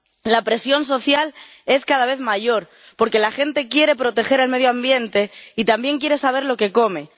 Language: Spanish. La presión social es cada vez mayor porque la gente quiere proteger el medio ambiente y también quiere saber lo que come.